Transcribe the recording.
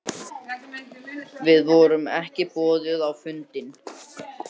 Við vorum ekki boðuð á fundinn